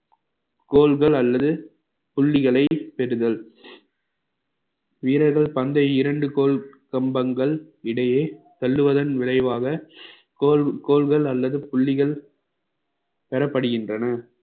கோல்கள் அல்லது புள்ளிகளை தேடுதல் வீரர்கள் பந்தை இரண்டு கோல் கம்பங்கள் இடையே தள்ளுவதன் விளைவாக கோல் கோல்கள் அல்லது புள்ளிகள் பெற பெறப்படுகின்றன